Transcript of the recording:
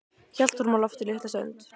Hélt honum á lofti litla stund.